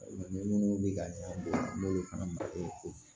Minnu bɛ ka ɲɛdɔn n'o ye fana ye